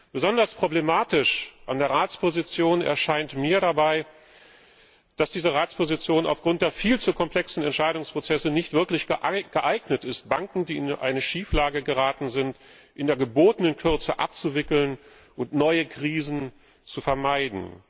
Besonders problematisch an der Ratsposition erscheint mir dabei, dass diese Ratsposition aufgrund der viel zu komplexen Entscheidungsprozesse nicht wirklich geeignet ist, Banken, die in eine Schieflage geraten sind, in der gebotenen Kürze abzuwickeln und neue Krisen zu vermeiden.